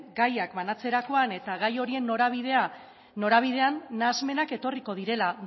gaiak banatzerakoan eta gai horien norabidean nahasmenak etorriko direla